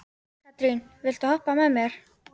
Katrín, viltu hoppa með mér?